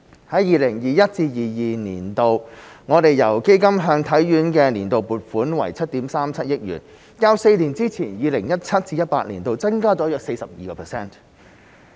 在 2021-2022 年度，我們由基金向體院的年度撥款為7億 3,700 萬元，較4年之前、2017-2018 年度增加了約 42%。